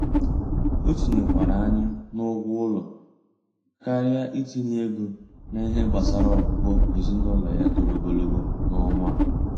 O tinyekwara anya n'ụgwọ ụlọ karịa itinye ego n'ihe gbasara ọgwụgwọ ezinụlọ ya toro ogologo n'ọnwa a.